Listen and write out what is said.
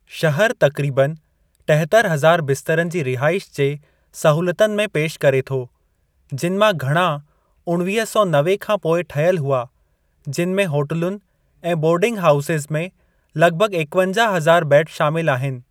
शहर तक़रीबनि टेहतरि हज़ार बिस्तरनि जी रिहाइश जे सहूलतुनि में पेश करे थो जिनि मां घणा उणिवीह सौ नवे खां पोइ ठहियल हुआ जिनि में होटिलुनि ऐं बोर्डिंग हाओसज़ में लॻभॻ एकवंजाह हज़ार बेड बेड शामिलु आहिनि।